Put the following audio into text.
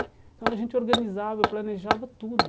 Então a gente organizava, planejava tudo.